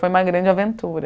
Foi uma grande aventura.